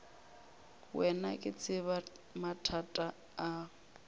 wena ke tseba mathata a